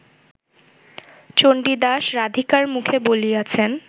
চণ্ডীদাস রাধিকার মুখে বলিয়াছেন